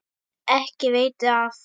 Ekki veiti af.